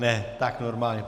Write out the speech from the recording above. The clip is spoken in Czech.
Ne, tak normálně.